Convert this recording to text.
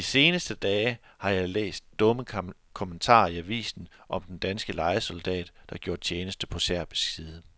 De seneste dage har jeg læst dumme kommentarer i avisen om den danske lejesoldat, der gjorde tjeneste på serbisk side.